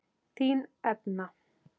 Þín Edna.